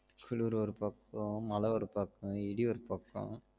குளுரு ஒரு பக்கம் மழை ஒரு பக்கம் இடி ஒரு பக்கம்